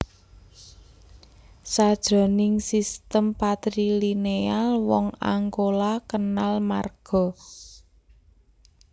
Sajroning sistem patrilineal wong Angkola kenal marga